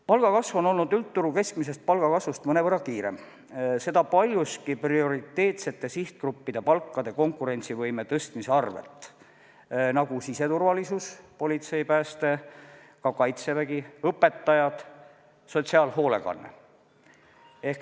Palgakasv on olnud üldturu keskmisest palgakasvust mõnevõrra kiirem, seda paljuski prioriteetsete sihtgruppide palkade konkurentsivõime tõstmise nimel: siseturvalisus, politsei, pääste, ka Kaitsevägi, õpetajad, sotsiaalhoolekanne.